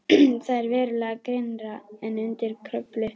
Það er verulega grynnra en undir Kröflu.